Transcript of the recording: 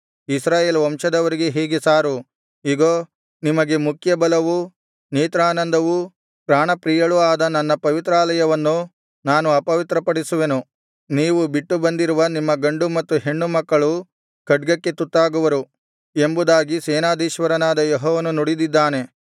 ಇಸ್ರಾಯೇಲ್ ವಂಶದವರಿಗೆ ಹೀಗೆ ಸಾರು ಇಗೋ ನಿಮಗೆ ಮುಖ್ಯಬಲವೂ ನೇತ್ರಾನಂದವೂ ಪ್ರಾಣಪ್ರಿಯವೂ ಆದ ನನ್ನ ಪವಿತ್ರಾಲಯವನ್ನು ನಾನು ಅಪವಿತ್ರಪಡಿಸುವೆನು ನೀವು ಬಿಟ್ಟು ಬಂದಿರುವ ನಿಮ್ಮ ಗಂಡು ಮತ್ತು ಹೆಣ್ಣು ಮಕ್ಕಳು ಖಡ್ಗಕ್ಕೆ ತುತ್ತಾಗುವರು ಎಂಬುದಾಗಿ ಸೇನಾದೀಶ್ವರನಾದ ಯೆಹೋವನು ನುಡಿದಿದ್ದಾರೆ